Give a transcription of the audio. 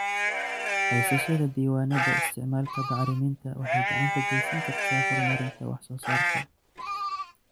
Haysashada diiwaannada isticmaalka bacriminta waxay gacan ka geysan kartaa horumarinta wax soo saarka.